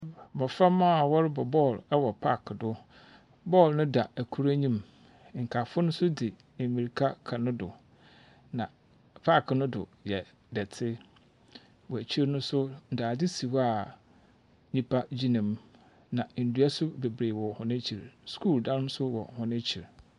Mmoframa a wɔrebɔ bɔɔlo ɛwɔ paaki do. Bɔɔlo na da ɛkoro anim. Nkae fo no nso de mmirika kɔ ne do. Na paaki no do yɛ dɔte. Wɔ akyire no nso dade si hɔ a nnipa gyina mu. Na nnua so bebree wɔ wɔn akyi. Sukuu dan nso wɔ wɔn akyi.